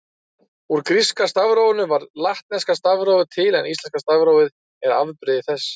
Úr gríska stafrófinu varð latneska stafrófið til en íslenska stafrófið er afbrigði þess.